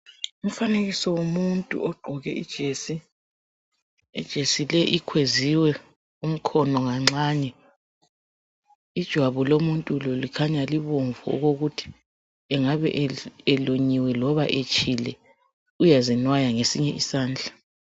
Umfanekiso womuntu ogqoke ijesi. Ijesi le, ikhweziwe umkhono kancane. ljwabu lomuntu lo, kukhanya libomvu okuveza ukuba angabe elunyiwe kumbe etshile. Uyazinwaya ngesinye isandla.